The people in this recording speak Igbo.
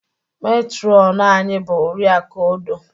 Metrọnu anyị bụ Oriakụ Odoh.